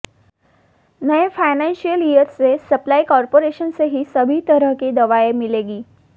नए financial year से supply corporation से ही सभी तरह की दवाएं मिलेगी